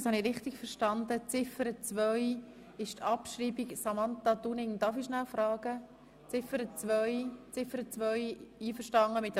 Habe ich Sie richtig verstanden, dass Sie mit der Abschreibung von Ziffer 2 einverstanden sind?